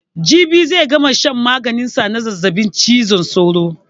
Jibi zai gama shan maganin sa na zazzabin cizon sauro.